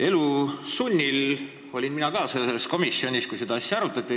Elu sunnil olin ka mina asendusliikmena õiguskomisjonis, kui seda asja arutati.